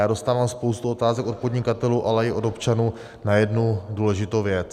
Já dostávám spoustu otázek od podnikatelů, ale i od občanů na jednu důležitou věc.